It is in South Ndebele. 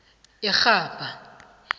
irhabha